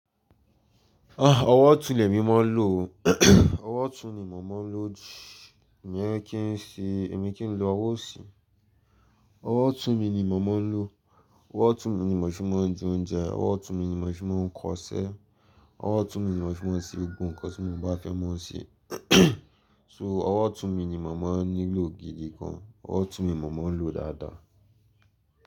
Ah! Ọwọ́ otun lèmi máa ń lò ó. Ọwọ́ otun ni mo máa ń lò jù, iyẹn kí n si, èmi kí n lo ọwọ́ osí? Ọwọ́ otun mi ni mo máań lò, ọwọ́ otun mi ni mò fi máa ń je oúnjẹ, ọwọ́ otun mi ni mò fi máa ń kọṣẹ́, ọwọ́ otun mi ni mò fi máa ń ṣe gbogbo nǹkan tí mo bá fẹ́ máa ṣe. So, ọwọ́ otun mi ni mo maá ń nílò gidi gan. Ọwọ́ otun mi mo maá ń lò dáadáa.